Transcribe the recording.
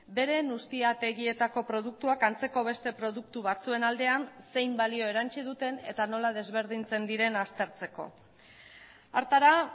beren ustiategietako produktuak antzeko beste produktu batzuen aldean zein balio erantsi duten eta nola desberdintzen diren aztertzeko hartara